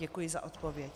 Děkuji za odpověď.